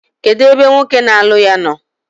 Kedu ebe nwoke na-alụ ya nọ?